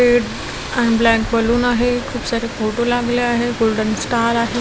एब अन् black balloon आहे खूप सारे फोटो लागले आहे गोल्डन स्टार आहे.